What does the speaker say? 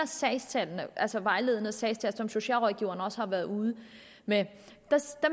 sagstallene altså vejledende sagstal som socialrådgiverne også har været ude med